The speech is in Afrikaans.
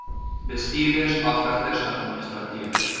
bestuurders afrigters administrateurs